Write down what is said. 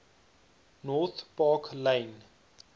north park lane